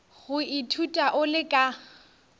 go ithuta o le ka